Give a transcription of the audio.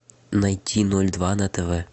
найти ноль два на тв